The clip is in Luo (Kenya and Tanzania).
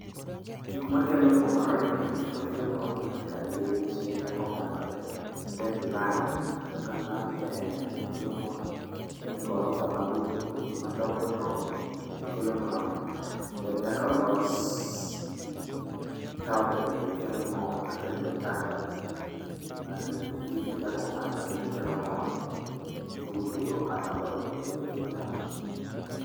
Gikmakelo mor, gikmakelo mor gin kaka geche kakopangore. Then lam, aneno ka lam ber, gino kelo mor. Then gorofa mabochobocho madongodongo be kelo mor. Then kaka ols taon ni be kelo mor. Kaka yo kalo gi buses gi geche kako pangore be kelo mor. Gi utego madongodongo go be kelo mor.